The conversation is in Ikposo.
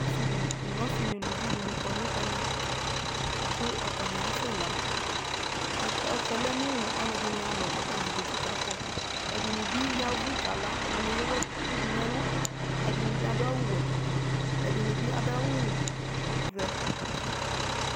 Ɔsɩdɩ nʋ ɔsɩ nʋ ʋlʋvi dɩnɩ kɔ nʋ ɛmɛ kʋ ɔtanɩ asɛla Ɔtsɛ lɛ nʋ ɔlɔdɩ nɩ alɔ kɔtanɩ zatɩ kakpɔ ɛdɩnɩ bɩ yavʋ kala ɛdɩnɩ ewʋ dʋ nʋ ɛlʋ ɛdɩnɩ bɩ adʋ awʋ wɛ ɛdɩnɩ bɩ adʋ awʋ vɛ